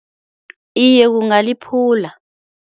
Iye kungaliphula.